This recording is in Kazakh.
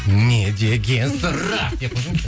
не деген сұрақ